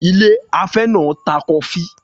Ilé afẹ́ náà ta tíì-kòkó